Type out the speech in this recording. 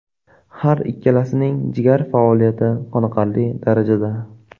Har ikkilasining jigar faoliyati qoniqarli darajada!